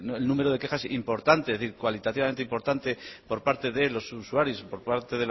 el número de quejas importantes es decir cualitativamente importante por parte de los usuarios por parte